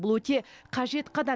бұл өте қажет қадам